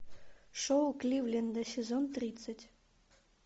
шоу кливленда сезон тридцать